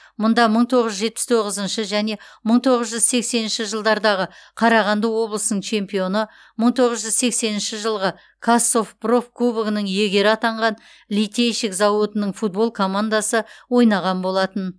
мұнда мың тоғыз жүз жетпіс тоғызыншы және мың тоғыз жүз сексенінші жылдардағы қарағанды облысының чемпионы мың тоғыз жүз сексенінші жылғы қазсовпроф кубогының иегері атанған литейщик зауытының футбол командасы ойнаған болатын